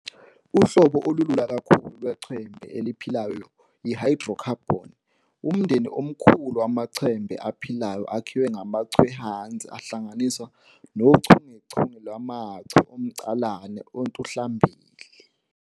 Uhlobo olulula kakhulu lweChembe eliphilayo yi-hydrocarbon - umndeni omkhulu wamachembe aphilayo akhiwe ngamaChwe ehwanzi ahlanganiswe nochungechunge lwamaChwe omCalahle ontuhlambili.